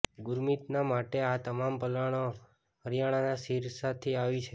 ગુરમીતનાં માટે આ તમામ ભલાણો હરિયાણાનાં સિરસાથી આવી છે